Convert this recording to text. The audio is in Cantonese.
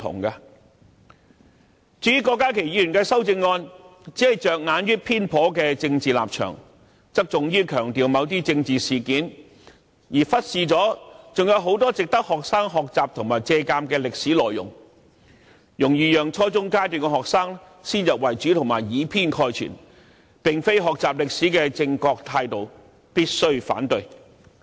至於郭家麒議員的修正案，內容只着眼於偏頗的政治立場及側重於強調某些政治事件，卻忽視了還有很多值得學生學習和借鑒的歷史內容，容易讓初中階段的學生先入為主及以偏概全，這並非學習歷史的正確取態，必須反對。